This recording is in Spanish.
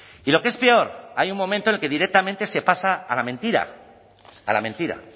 y lo que es peor hay un momento en el que directamente se pasa a la mentira a la mentira